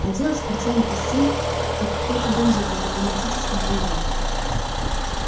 одела в спортивный костюм как какой-то бандит на дипломатическом приёме